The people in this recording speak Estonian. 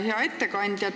Hea ettekandja!